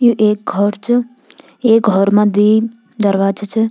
यु एक घौर च ये घौर मा द्वि दरवाजा छ।